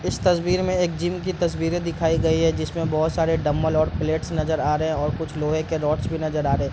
इस तस्वीर में एक जिम की तस्वीरे दिखाई गई है जिसमें बहुत सारे डम्बल और प्लेट्स नजर आ रहे हैं और कुछ लोहे के रोड्स भी नजर आ रहे।